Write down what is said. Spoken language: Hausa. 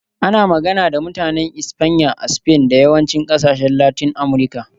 Ana magana da Mutanen Espanya a Spain da yawancin ƙasashen Latin Amurka.